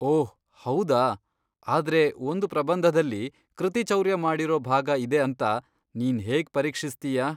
ಓಹ್ ಹೌದಾ! ಆದ್ರೆ ಒಂದ್ ಪ್ರಬಂಧದಲ್ಲಿ ಕೃತಿಚೌರ್ಯ ಮಾಡಿರೋ ಭಾಗ ಇದೆ ಅಂತ ನೀನ್ ಹೇಗ್ ಪರೀಕ್ಷಿಸ್ತೀಯಾ?